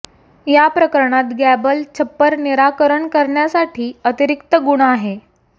या प्रकरणात गॅबल छप्पर निराकरण करण्यासाठी अतिरिक्त गुण आहे